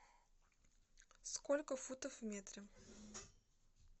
сколько футов в метре